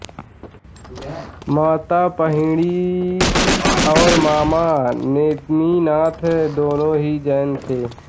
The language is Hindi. माता पाहिणी और मामा नेमिनाथ दोनों ही जैन थे